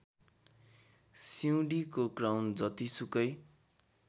सिउँडीको crown जतिसुकै